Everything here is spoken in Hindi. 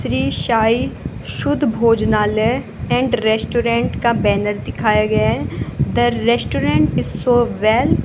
श्री साई शुद्ध भोजनालय एंड रेस्टोरेंट का बैनर दिखाया गया है the restaurant is so well --